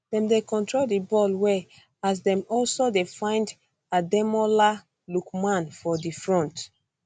dem dey control di ball well as dem also dey find ademola lookman fro di front